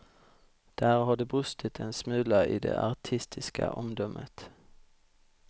Där har det brustit en smula i det artistiska omdömet.